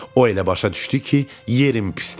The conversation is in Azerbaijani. O elə başa düşdü ki, yerim pisdir.